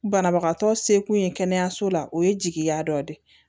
Banabagatɔ seko ye kɛnɛyaso la o ye jigiya dɔ de ye